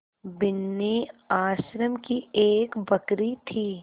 बिन्नी आश्रम की एक बकरी थी